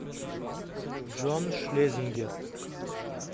джон шлезингер